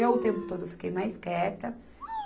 Eu, o tempo todo, fiquei mais quieta.